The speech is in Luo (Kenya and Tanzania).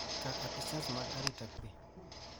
ka apisas mag arita kwe,